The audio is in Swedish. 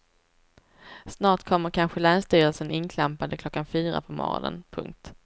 Snart kommer kanske länsstyrelsen inklampande klockan fyra på morgonen. punkt